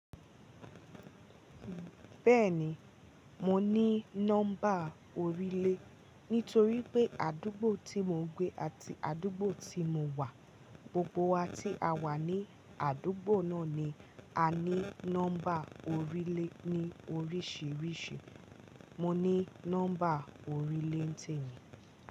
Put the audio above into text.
Bẹ́ẹ̀ni, mo ní nọ́mbà orílẹ̀ nítorí pé àdúgbò tí mo gbé àti àdúgbò tí mo wà, gbogbo wa tí a wà ní àdúgbò náà ni a ní nọ́mbà orílẹ̀ ní oríṣiríṣi. Mo ní nọ́mbà orílẹ̀ n'tèmi.